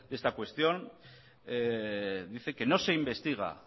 de esta cuestión dicen que no se investiga